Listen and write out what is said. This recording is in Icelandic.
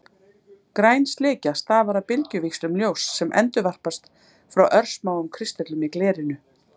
Græn slikja stafar af bylgjuvíxlum ljóss sem endurvarpast frá örsmáum kristöllum í glerinu.